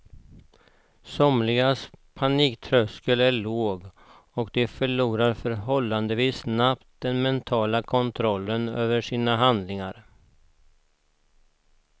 Somligas paniktröskel är låg och de förlorar förhållandevis snabbt den mentala kontrollen över sina handlingar.